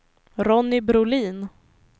Ronny Brolin